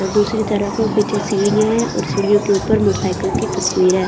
दूसरी तरफ पीछे सीढ़ियां है और सीढ़ियां के ऊपर मोटरसाइकिल की तस्वीर है।